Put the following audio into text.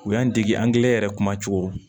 U y'an dege angilɛ yɛrɛ kuma cogo